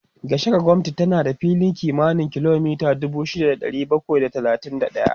Gashaka-gumti tana da fili kimanin kilomita dubu shida da ɗari bakwai da talatin da ɗaya